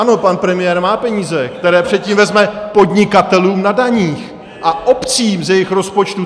Ano, pan premiér má peníze, které předtím vezme podnikatelům na daních a obcím z jejich rozpočtů.